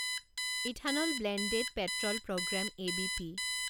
ethanol blended petrol programme ABP